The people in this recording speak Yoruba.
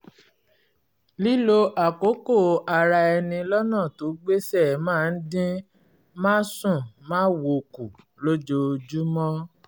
lílo àkókò ara ẹni lọ́nà tó gbéṣẹ́ máa ń dín másùnmáwo kù lójoojúmọ́